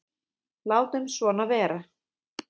Látum svona vera.